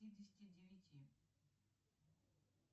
пятидесяти девяти